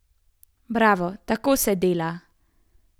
Bravo, tako se dela.